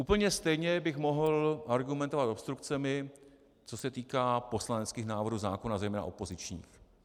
Úplně stejně bych mohl argumentovat obstrukcemi, co se týká poslaneckých návrhů zákonů, zejména opozičních.